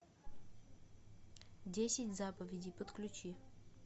десять заповедей подключи